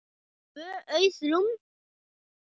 Tvö auð rúm.